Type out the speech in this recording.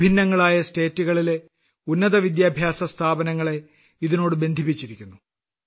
വിഭിന്നങ്ങളായ സംസ്ഥാനങ്ങളിലെ ഉന്നതവിദ്യാഭ്യാസ സ്ഥാപനങ്ങളെ ഇതിനോട് ബന്ധിപ്പിച്ചിരിക്കുന്നു